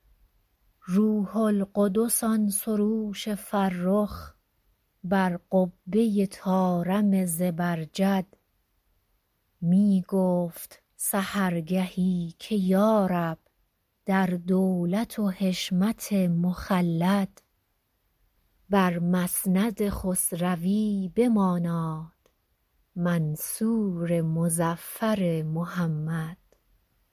روح القدس آن سروش فرخ بر قبه طارم زبرجد می گفت سحر گهی که یا رب در دولت و حشمت مخلد بر مسند خسروی بماناد منصور مظفر محمد